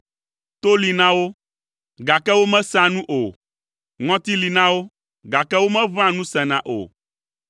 to li na wo, gake womesea nu o, ŋɔti li na wo, gake womeʋẽa nu sena o;